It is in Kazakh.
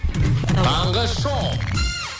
таңғы шоу